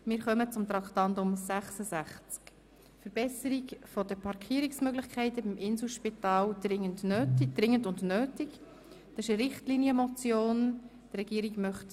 Wir kommen zu Traktandum 66, einer Richtlinienmotion, welche die Regierung ablehnt.